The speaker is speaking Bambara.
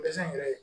Dɛsɛn yɛrɛ